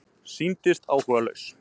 Sýndist áhugalaus.